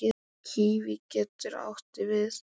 Kíví getur átti við